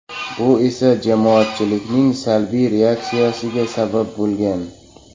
Bu esa jamoatchilikning salbiy reaksiyasiga sabab bo‘lgan.